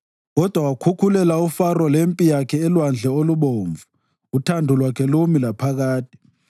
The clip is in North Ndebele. Kodwa wakhukhulela uFaro lempi yakhe eLwandle oluBomvu, uthando lwakhe lumi laphakade.